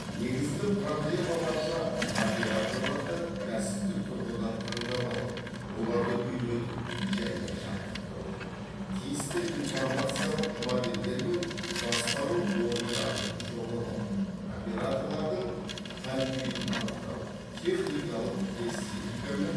негізгі проблемаларына операторларды кәсіптік тұрғыдан таңдап алу оларды үйрету және жаттықтыру тиісті информациялық модельдер мен басқару орындарын жобалау операторлардың хал күйін анықтау техникалық эстетика мен